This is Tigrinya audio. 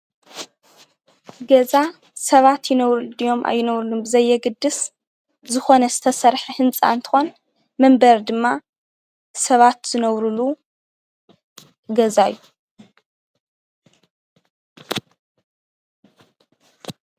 ገዛ ሰባት ይነብርሉ ድዮም ኣይነብርሉን ብዘየግድስ ዝኾነ ዝተሰርሐ ህንፃ እንትኾን መንበሪ ድማ ሰባት ዝነብርሉ ገዛ እዩ፡፡